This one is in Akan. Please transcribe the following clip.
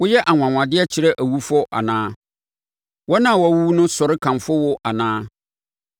Woyɛ anwanwadeɛ kyerɛ awufoɔ anaa? Wɔn a wɔawuwu no sɔre kamfo wo anaa?